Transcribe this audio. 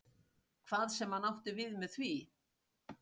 Hvað sem hann átti við með því.